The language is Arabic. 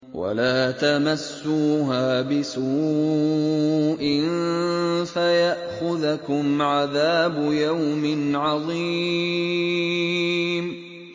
وَلَا تَمَسُّوهَا بِسُوءٍ فَيَأْخُذَكُمْ عَذَابُ يَوْمٍ عَظِيمٍ